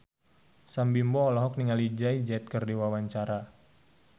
Sam Bimbo olohok ningali Jay Z keur diwawancara